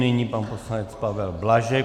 Nyní pan poslanec Pavel Blažek.